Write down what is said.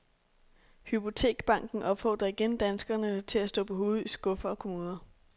Hypotekbanken opfordrer igen danskerne til at stå på hovedet i skuffer og kommoder.